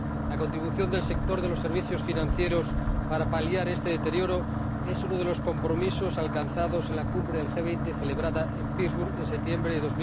La contribución del sector de los servicios financieros para paliar este deterioro es uno de los compromisos alcanzados en la Cumbre del G20 celebrada en Pittsburgh en septiembre de